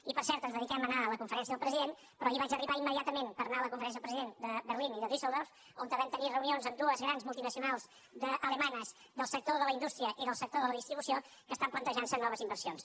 i per cert ens dediquem a anar a la conferència del president però ahir vaig arribar immediatament per anar a la conferència del president de berlín i de düsseldorf on vam tenir reunions amb dues grans multinacionals alemanyes del sector de la indústria i del sector de la distribució que estan plantejant se noves inversions